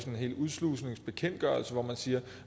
en hel udslusningsbekendtgørelse hvor man siger